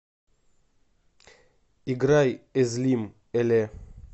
играй эзлим эле